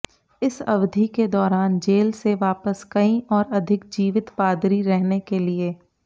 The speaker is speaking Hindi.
इस अवधि के दौरान जेल से वापस कई और अधिक जीवित पादरी रहने के लिए